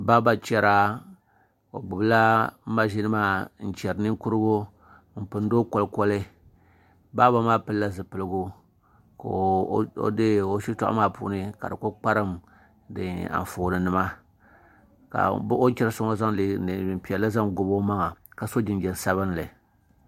Baaba chɛra o gbubila mashin maa n pindi ninkurigu kolikoli baaba maa pilila zipiligu ka o shitoɣu maa puuni ka di ku kparim Anfooni nima ka o ni chɛri so ŋo zaŋ neen piɛlli zaŋ gobi o maŋa ka so jinjɛm sabinli